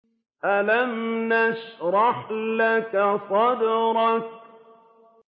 أَلَمْ نَشْرَحْ لَكَ صَدْرَكَ